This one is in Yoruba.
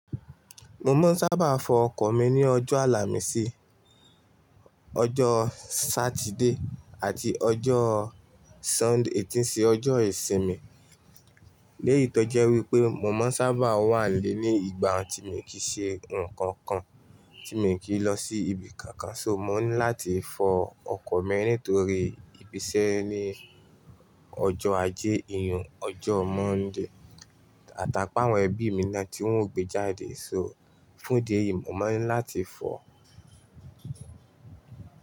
Mo máa ń sábà fọ ọkọ̀ mi ní ọjọ́ àlàmísì, ọjọ́ Saturday àti ọjọ́ Sunday, tí n ṣe ọjọ́ ìsinmi. Léyìí tọ́jú ẹ wípé mo máa ń sábà wà lé ní ìgbà tí mi kì í ṣe nǹkan kan, tí mi kì í lọ sí ibi kankan. So mo ní láti fọ ọkọ̀ mi nítorí ìbisẹ́ ni ọjọ́ ajé ìyùn, ọjọ́ Monday. Àtàpá àwọn ẹbí mi náà tí wọ́n ò gbé jáde, so fún di èyí, mo máa ń láti fọ.